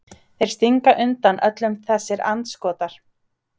Þeir stinga undan öllum þessir andskotar!